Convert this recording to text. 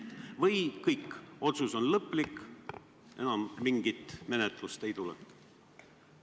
Või ongi kõik, otsus on lõplik, enam mingit menetlust ei tule?